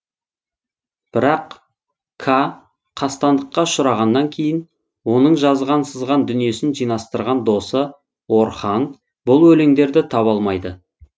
бірақ ка қастандыққа ұшырағаннан кейін оның жазған сызған дүниесін жинастырған досы орхан бұл өлеңдерді таба алмайды